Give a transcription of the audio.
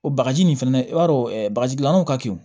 O bagaji nin fɛnɛ i b'a dɔn bagaji gilannenaw ka kin